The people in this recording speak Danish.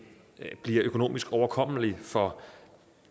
bliver økonomisk overkommeligt for